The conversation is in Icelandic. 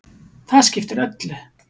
Það skiptir öllu.